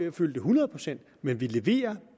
hundrede procent men vi leverer